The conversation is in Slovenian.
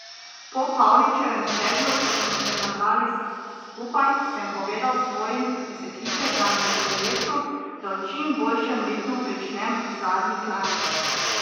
Po Pavličevem sedlu, ko smo se nabrali skupaj, sem povedal svojim iz ekipe, da mi je v interesu, da v čim boljšem ritmu pričnem zadnji klanec.